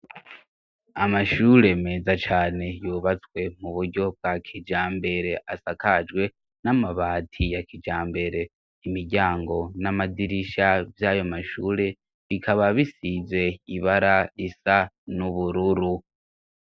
Amashure meza cane yubatswe mu buryo bwa kijambere, asakajwe n'amabati ya kijambere, imiryango n'amadirisha vy'ayo mashure, bikaba bisize ibara risa n'ubururu.